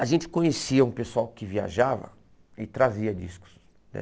A gente conhecia um pessoal que viajava e trazia discos, né?